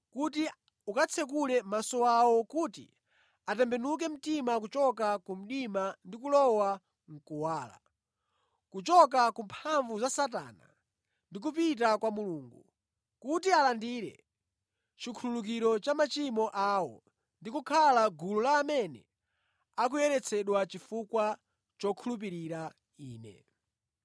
kuti ukatsekule maso awo kuti atembenuke mtima kuchoka ku mdima ndi kulowa mʼkuwala, kuchoka ku mphamvu za Satana ndi kupita kwa Mulungu, kuti alandire chikhululukiro cha machimo awo ndi kukhala mʼgulu la amene akuyeretsedwa chifukwa chokhulupirira Ine.